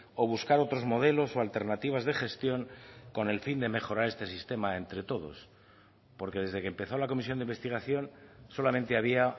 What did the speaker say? o buscar otros modelos o alternativas de gestión con el fin de mejorar este sistema entre todos porque desde que empezó la comisión de investigación solamente había